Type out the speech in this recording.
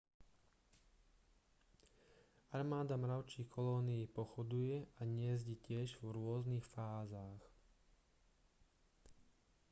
armáda mravčích kolónií pochoduje a hniezdi tiež v rôznych fázach